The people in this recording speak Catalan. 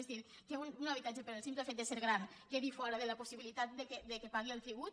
és a dir que un habitatge pel simple fet de ser gran quedi fora de la possibilitat que pagui el tribut